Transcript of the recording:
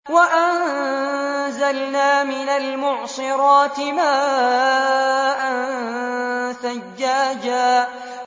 وَأَنزَلْنَا مِنَ الْمُعْصِرَاتِ مَاءً ثَجَّاجًا